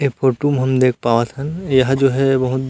ए photo में हम पावत हन यह जो है बहुत--